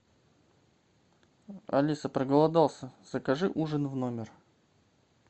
алиса проголодался закажи ужин в номер